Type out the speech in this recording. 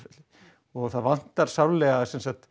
og það vantar sárlega